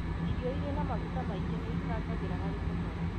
Irio irĩ na maguta maingĩ nĩicangagĩra harĩ kũnora